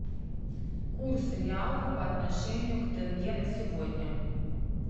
курс реала по отношению к тенге на сегодня